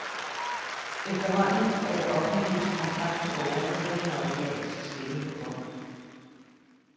Efterhånden er det offentliges kontakt til borgerne kun en automatisk stemme på bånd.